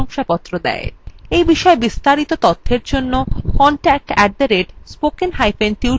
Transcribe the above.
এই বিষয় বিস্তারিত তথ্যের জন্য contact @spokentutorial org তে ইমেল করুন